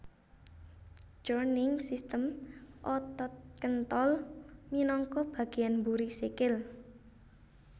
Jroning sistem otot kéntol minangka bagéyan mburi sikil